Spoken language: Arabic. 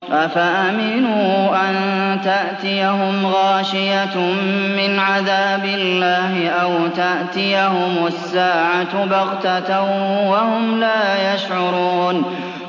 أَفَأَمِنُوا أَن تَأْتِيَهُمْ غَاشِيَةٌ مِّنْ عَذَابِ اللَّهِ أَوْ تَأْتِيَهُمُ السَّاعَةُ بَغْتَةً وَهُمْ لَا يَشْعُرُونَ